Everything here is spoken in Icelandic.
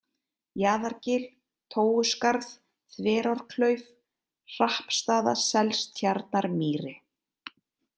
Jaðargil, Tóuskarð, Þverárklauf, Hrappstaðaselstjarnarmýri